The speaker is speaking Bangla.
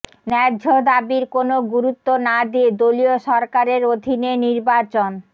ন্যায্য দাবির কোনো গুরুত্ব না দিয়ে দলীয় সরকারের অধীনে নির্বাচন